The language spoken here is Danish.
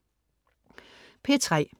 P3: